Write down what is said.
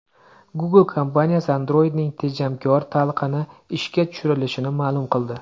Google kompaniyasi Android’ning tejamkor talqini ishga tushirilishini ma’lum qildi.